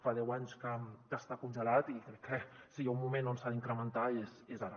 fa deu anys que està congelat i crec que si hi ha un moment que s’ha d’incrementar és ara